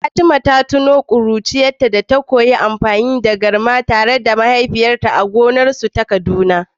Fatima ta tuno ƙuruciyarta ta koyi amfani da garma tare da mahaifinta a gonar su ta Kaduna.